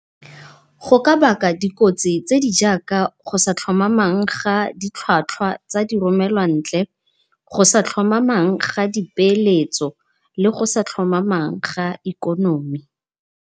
Go ka baka dikotsi tse di jaaka go sa tlhomamang ga ditlhwatlhwa tsa di romelwa ntle, go sa tlhomamang ga di peeletso, le go sa tlhomamang ga ikonomi.